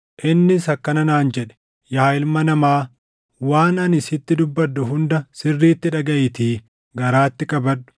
Innis akkana naan jedhe; “Yaa ilma namaa, waan ani sitti dubbadhu hunda sirriitti dhagaʼiitii garaatti qabadhu.